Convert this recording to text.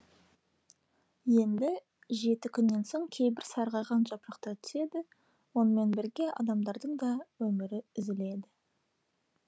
енді жеті күннен соң кейбір сарғайған жапырақтар түседі онымен бірге адамдардың да өмірі үзіледі